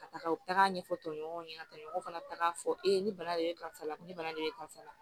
Ka taga u taga ɲɛfɔ tɔɲɔgɔnw ɲɛna ka taga fɔ e ni bana de bɛ karisa la ko ni bana de bɛ karisa la